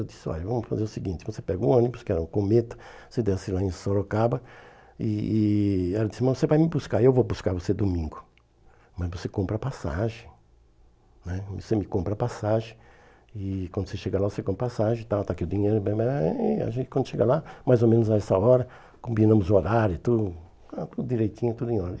Eu disse, olha, vamos fazer o seguinte, você pega o ônibus, que era um cometa, você desce lá em Sorocaba e e ela disse, mas você vai me buscar, eu vou buscar você domingo, mas você compra a passagem né, você me compra a passagem e quando você chega lá, você compra a passagem e tal, está aqui o dinheiro, e a gente quando chega lá, mais ou menos a essa hora, combinamos o horário e tudo, é tudo direitinho, tudo em ordem.